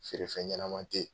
Feerefɛn ɲɛnama te ye.